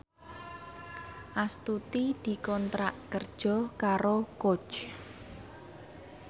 Astuti dikontrak kerja karo Coach